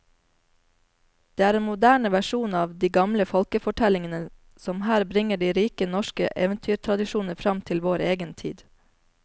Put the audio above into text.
Det er en moderne versjon av de gamle folkefortellingene som her bringer de rike norske eventyrtradisjoner fram til vår egen tid.